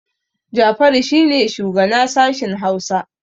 Jafaru shi ne shugana sashin Hausa